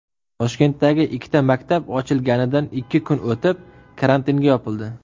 Toshkentdagi ikkita maktab ochilganidan ikki kun o‘tib karantinga yopildi.